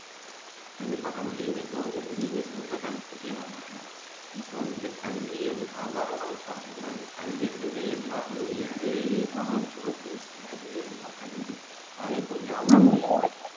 கண்டிப்பா கமலி இப்போ வந்துட்டு நீங்க சொல்ற கருத்துக்கே நான் வாரேன் இப்போ வந்துட்டு கல்வியை வியாபாரமாவே பாக்கக்கூடாது கல்விங்கிறது கல்வி அதை இப்போ வியாபாரமயமாக்கி